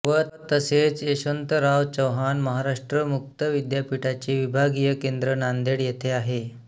व तसेच यशवन्तराव चव्हाण महाराष्ट्र मुक्त विद्यापिठाचे विभागिय केन्द्र नान्देड येथे आहे